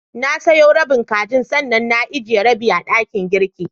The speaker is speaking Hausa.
Na soya rabin kajin, sannan na ijiye rabi a dakin girki.